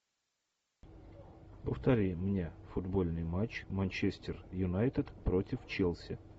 повтори мне футбольный матч манчестер юнайтед против челси